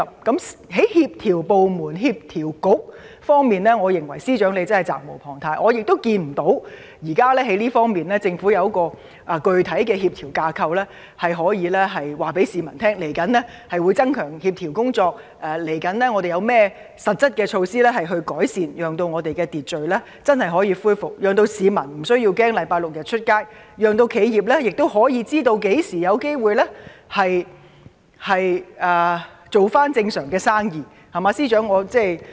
在協調各部門及政策局方面，我認為司長責無旁貸，但我看不到現時政府可以告訴市民，它在這方面有何具體的協調架構，未來會增強協調工作，未來又會有甚麼實質改善措施，讓社會能真正恢復秩序，讓市民周六日上街無須懼怕，亦可讓企業知道何時有機會回復正常，可安心做生意，對嗎？